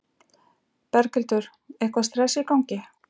Berghildur: Eitthvað stress í gangi?